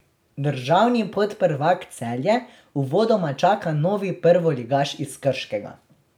Državni podprvak Celje uvodoma čaka novi prvoligaš iz Krškega.